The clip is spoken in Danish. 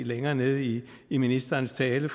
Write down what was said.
længere nede i i ministerens tale